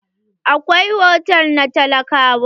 Akwai hotal na talakawa.